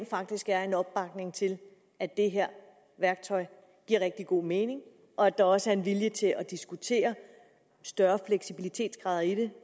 faktisk er en opbakning til at det her værktøj giver rigtig god mening og at der også er en vilje til at diskutere større fleksibilitetsgrader i det